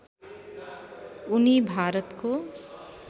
उनी भारतको